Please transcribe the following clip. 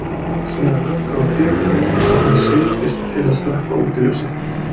Síðan lokaði hún dyrunum og hann seildist til að slökkva útiljósið.